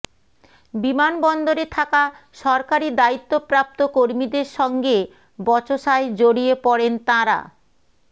বিমানবন্দরে থাকা সরকারি দায়িত্বপ্রাপ্ত কর্মীদের সঙ্গে বচসায় জড়িয়ে পড়েন তাঁরা